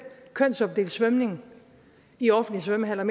kønsopdelt svømning i offentlige svømmehaller